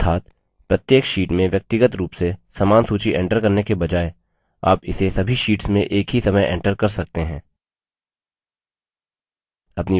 अर्थात प्रत्येक sheet में व्यक्तिगत रूप से समान सूची enter करने के बजाय आप इसे सभी शीट्स में एक ही समय enter कर सकते हैं